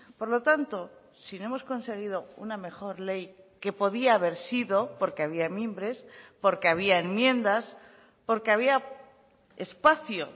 por lo tanto si no hemos conseguido una mejor ley que podía haber sido porque había mimbres porque había enmiendas porque había espacio